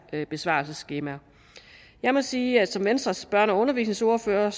besvarelsesskemaer jeg må sige at jeg som venstres børne og undervisningsordfører